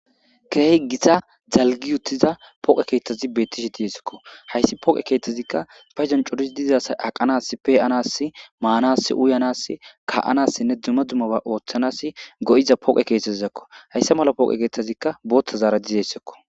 keehe gita dalgi uttiza poqe keeththazi beettishi diyesakko hayssi poqe keeththazikka feezon coris dizasay aqanas peanas maanas uyanas ka7anassinne duma dumaba ooththanas go7iza poqe keeththazizakko hayssa mala pooqe keeththazikka booththa zaara dizeyssekko